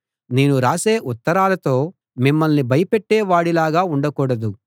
నేను రాసే ఉత్తరాలతో మిమ్మల్ని భయపెట్టే వాడిలాగా ఉండకూడదు